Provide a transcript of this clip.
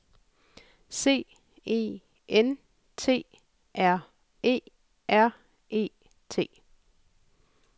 C E N T R E R E T